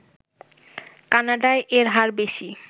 কানাডায় এর হার বেশি